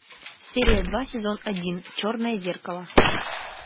серия два сезон один черное зеркало